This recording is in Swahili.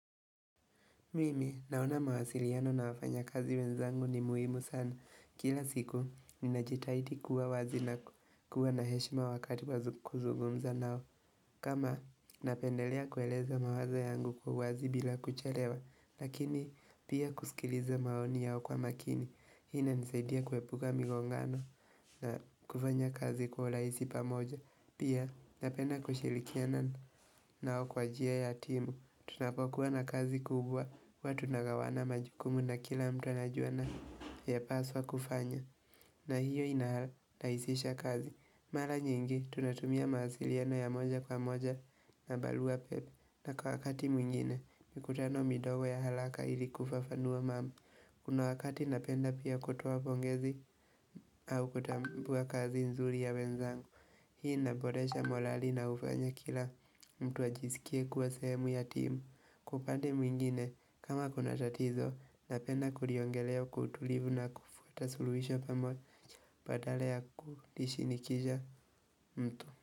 Mimi, naona mawasiliano na wafanya kazi wenzangu ni muhimu sana. Kila siku, ninajitahidi kuwa wazi na kuwa na heshima wakati wa kuzugumza nao. Kama, napendelea kueleza mawazo yangu kwa uwazi bila kuchelewa. Lakini, pia kusikiliza maoni yao kwa makini. Ina nisaidia kuwepuka migongano na kufanya kazi kwa urahisi pamoja. Pia, napenda kushirikiana nao kwa njia ya timu. Tunapokuwa na kazi kubwa huwa tunagawana majukumu na kila mtu anajua na ya paswa kufanya na hiyo inaharahisisha kazi Mala nyingi tunatumia mawasiliano ya moja kwa moja na barua pepe na kwa wakati mwingine mikutano midogo ya halaka ili kufafanua mamu Kuna wakati napenda pia kutuoa pongezi au kutambua kazi nzuri ya wenzangu Hii naboresha molali na hufanya kila mtu ajisikie kuwa sehemu ya timu Kwa upande mwingine kama kuna tatizo napenda kuriongeleo kwa kutulivu na kufuata suluhisho pamoja badala ya kulishinikiza mtu.